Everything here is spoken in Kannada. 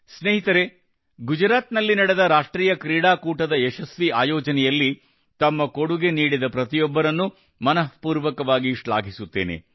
ಸ್ನೇಹಿತರೇ ಗುಜರಾತ್ ನಲ್ಲಿ ನಡೆದ ರಾಷ್ಟ್ರೀಯ ಕ್ರೀಡಾಕೂಟದ ಯಶಸ್ವಿ ಆಯೋಜನೆಯಲ್ಲಿ ತಮ್ಮ ಕೊಡುಗೆ ನೀಡಿದ ಪ್ರತಿಯೊಬ್ಬರನ್ನು ಮನಃಪೂರ್ವಕವಾಗಿ ಶ್ಲಾಘಿಸುತ್ತೇನೆ